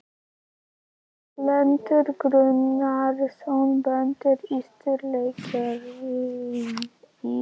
Erlendur Gunnarsson bóndi á Sturlureykjum í